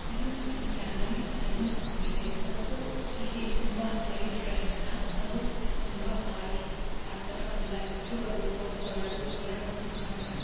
ಇದು ಒಂದು family salon ಹಾಗಿದೆ ಮತ್ತು ಇಲ್ಲಿ ತುಂಬಾ ಲೈಟ್ ಗಳಿಂದ ಹಾಗೂ ತುಂಬಾ ಆಯಿಲ್ಸ್ ಆತರ ಎಲ್ಲ ಇಟ್ಟು ಹಾಗೂ ಸೋಫಾಗಳು ಎಲ್ಲಾ ಮುಖಾಂತರ --